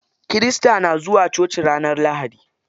Kirista na zuwa coci ranar lahadi.